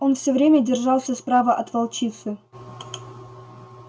он всё время держался справа от волчицы